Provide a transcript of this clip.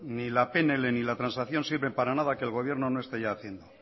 ni la pnl ni la transacción sirven para nada que el gobierno no esté ya haciendo